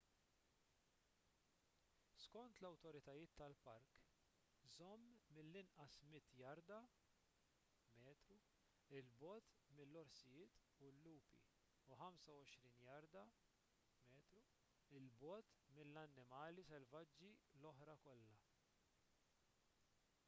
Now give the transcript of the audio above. skont l-awtoritajiet tal-park żomm mill-inqas 100 jarda/metru 'l bogħod mill-orsijiet u l-lupi u 25 jarda/metru 'l bogħod mill-annimali selvaġġi l-oħra kollha!